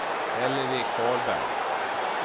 Hillevi Karlberg